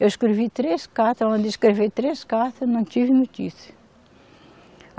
Eu escrevi três carta, mandei escrever três cartas, não tive notícia.